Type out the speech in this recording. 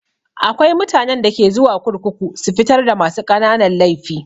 Akwai mutanen da ke zuwa kurkuku su fitar da masu ƙananan laifi.